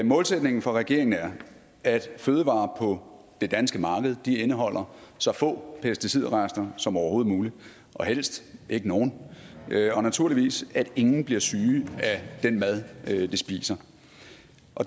målsætningen for regeringen er at fødevarer på det danske marked indeholder så få pesticidrester som overhovedet muligt og helst ikke nogen og naturligvis at ingen bliver syge af den mad de spiser